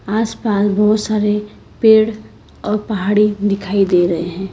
आसपास बहुत सारे पेड़ और पहाड़ी दिखाई दे रहे हैं।